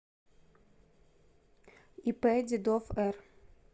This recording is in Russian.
ип дедов р